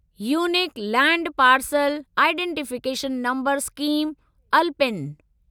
unique land parcel identification number scheme alpine